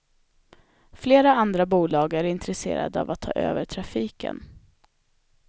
Flera andra bolag är intresserade av att ta över trafiken.